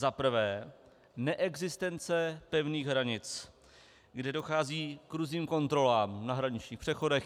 Za prvé, neexistence pevných hranic, kde dochází k různým kontrolám na hraničních přechodech.